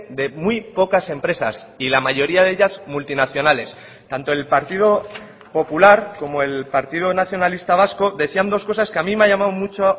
de muy pocas empresas y la mayoría de ellas multinacionales tanto el partido popular como el partido nacionalista vasco decían dos cosas que a mí me ha llamado mucho